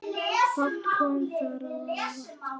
Fátt kom þar á óvart.